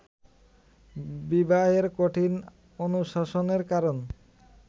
বিবাহের কঠিন অনুশাসনের কারণ